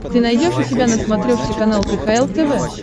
ты найдешь у себя на смотрешке канал кхл тв